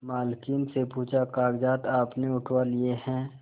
मालकिन से पूछाकागजात आपने उठवा लिए हैं